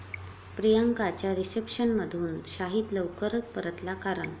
प्रियांकाच्या रिसेप्शनमधून शाहीद लवकर परतला, कारण...